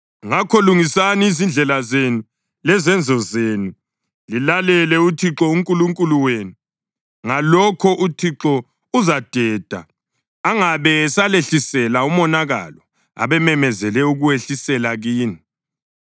Ngakho lungisani izindlela zenu lezenzo zenu lilalele uThixo uNkulunkulu wenu. Ngalokho uThixo uzadeda angabe esalehlisela umonakalo abememezele ukuwehlisela kini.